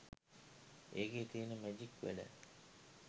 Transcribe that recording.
ඒකේ තියෙන මැජික් වැඩ